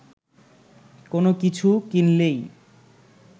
কোনো কিছু কিনলেই